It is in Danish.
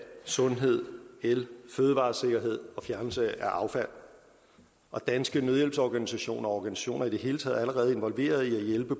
sundhed el fødevaresikkerhed og fjernelse af affald og danske nødhjælpsorganisationer og organisationer i det hele taget er allerede involveret i at hjælpe